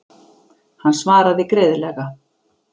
Hann svaraði greiðlega.